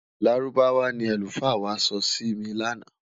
Lárúbáwá ní alufa wà sọ Si mí lànà